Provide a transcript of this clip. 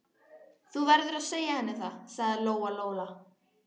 Þú verður að segja henni það, sagði Lóa-Lóa.